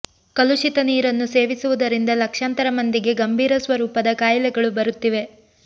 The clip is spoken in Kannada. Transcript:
ಕಲುಷಿತ ನೀರನ್ನು ಸೇವಿಸುವುದರಿಂದ ಲಕ್ಷಾಂತರ ಮಂದಿಗೆ ಗಂಭೀರ ಸ್ವರೂಪದ ಕಾಯಿಲೆಗಳು ಬರುತ್ತಿವೆ